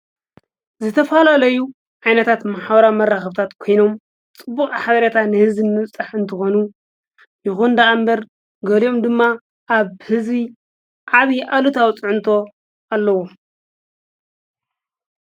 ዘተፋልለዩ ዓይነታት መሓዋራ መራ ኽብታት ኮይኖም ጥቡቕ ኃረታ ንሕዚ እምውጽሕ እንተኾኑ ይኾንደኣ እምበር ገሊኦም ድማ ኣብ ሕዙይ ዓብ ኣሉታዊ ጽዕንቶ ኣለዎ።